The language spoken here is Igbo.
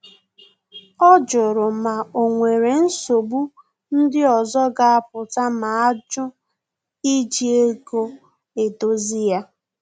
Ọ jụrụ ma o nwere nsogbu ndị ọzọ ga apụta ma ajụ iji ego edozi ya